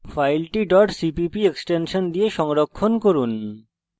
এখন file cpp extension দিয়ে সংরক্ষণ করুন